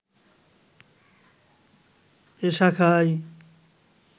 এই শাখায়